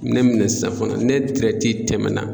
Minɛn mana sisan fana ne tɛmɛnna